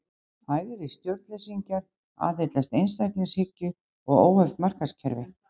Hægri stjórnleysingjar aðhyllast einstaklingshyggju og óheft markaðskerfi.